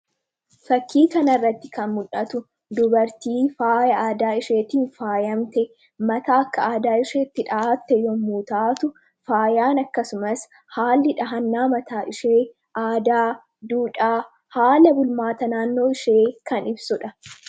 Fakkii kana irratti kan mul'atu, dubartii faaya aadaa isheetiin faayamtee, mataa akka aadaa isheetti dhahattee yemmuu taatu, faayaan akkasumas haalli dhahannaa mataa ishee aadaa, duudhaa, haala bulmaata naannoo ishee kan ibsudha.